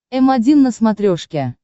м один на смотрешке